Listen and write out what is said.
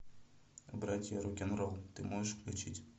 братья рок н ролл ты можешь включить